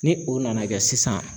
Ni u nana kɛ sisan